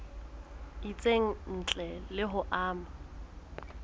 itseng ntle le ho ama